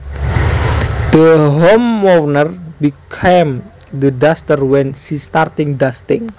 The homeowner became the duster when she starting dusting